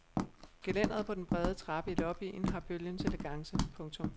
Gelænderet på den brede trappe i lobbyen har bølgens elegance. punktum